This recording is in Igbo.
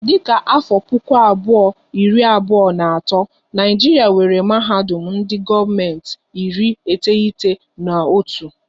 Dịka afọ puku abụọ iri abụọ na atọ, Naijiria nwéré mahadum ndị gọọmenti iri iteghete na otu